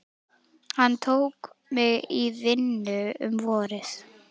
Hann tók mig í vinnu um vorið.